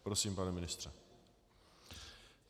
Prosím, pane ministře.